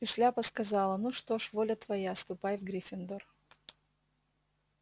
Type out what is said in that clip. и шляпа сказала ну что ж воля твоя ступай в гриффиндор